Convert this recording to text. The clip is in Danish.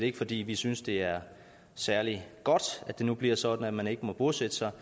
ikke fordi vi synes det er særlig godt at det nu bliver sådan at man ikke må bosætte sig